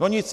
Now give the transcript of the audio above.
No nic.